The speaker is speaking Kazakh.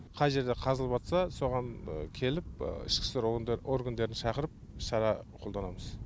қай жерде қазылып соған келіп ішкі істер органдарын шақырып шара қолданамыз